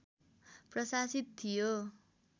प्रशासित थियो